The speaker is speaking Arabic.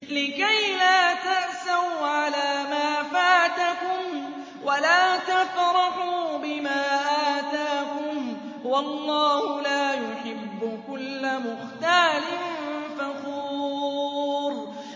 لِّكَيْلَا تَأْسَوْا عَلَىٰ مَا فَاتَكُمْ وَلَا تَفْرَحُوا بِمَا آتَاكُمْ ۗ وَاللَّهُ لَا يُحِبُّ كُلَّ مُخْتَالٍ فَخُورٍ